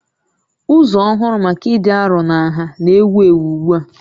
Ụzọ ọhụrụ maka ịdị arọ na nha na-ewu ewu ugbu a